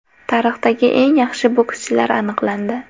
Tarixdagi eng yaxshi bokschilar aniqlandi.